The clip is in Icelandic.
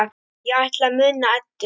Ég ætla að muna Eddu.